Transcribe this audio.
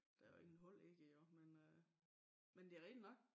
Der er jo ingen hold i det jo men øh men det rigtig nok